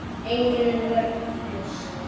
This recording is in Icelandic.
Engin vörn finnst.